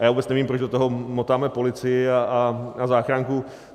A já vůbec nevím, proč do toho motáme policii a záchranku.